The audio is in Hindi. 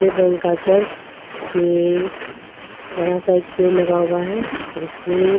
रंग का चर्ज इसके बड़ा सा एक पेड़ लगा हुआ है इसमें.